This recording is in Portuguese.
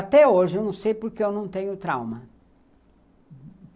Até hoje, eu não sei porque eu não tenho trauma.